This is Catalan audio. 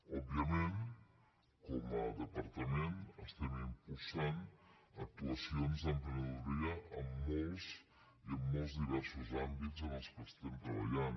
òbviament com a departament estem impulsant actuacions d’emprenedoria en molts i molt diversos àmbits en què estem treballant